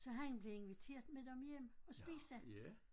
Så han blev inviteret med dem hjem og spise